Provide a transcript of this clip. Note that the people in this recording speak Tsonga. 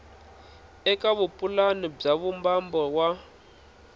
eka vupulani bya vumbano wa